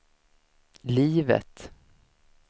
livet